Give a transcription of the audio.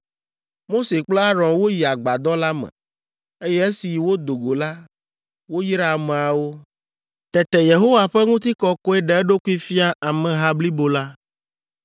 Mose kple Aron woyi Agbadɔ la me, eye esi wodo go la, woyra ameawo. Tete Yehowa ƒe ŋutikɔkɔe ɖe eɖokui fia ameha blibo la,